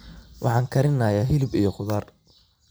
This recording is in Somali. Waxaan karinyay hilib iyo khudaar.